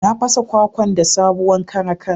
Na fasa kwakwan da sabowan karakan.